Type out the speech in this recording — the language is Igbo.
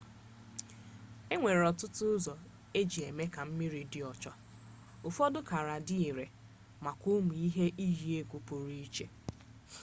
e nwere ọtụtụ ụzọ e ji eme ka mmiri dị ọcha ụfọdụ kara dị ire maka ụmụ ihe iyi egwu pụrụ iche